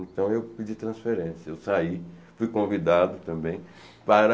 Então eu pedi transferência, eu saí, fui convidado também para